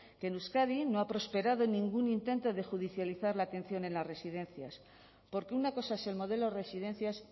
que en euskadi no ha prosperado ningún intento de judicializar la atención en las residencias porque una cosa es el modelo de residencias